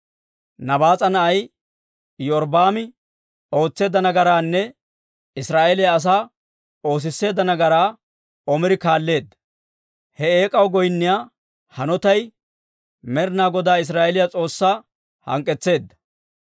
Nabaas'a na'ay Iyorbbaami ootseedda nagaraanne Israa'eeliyaa asaa oosisseedda nagaraa Omiri kaalleedda; he eek'aw goynniyaa hanotay Med'inaa Godaa Israa'eeliyaa S'oossaa hank'k'etseedda.